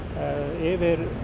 yfir